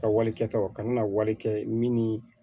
Ka wali kɛtaw ka na wari kɛ min ni